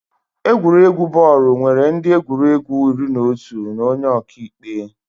Egwuregwu bọọlụ nwere ndị egwuregwu iri na otu na onye ọka ikpe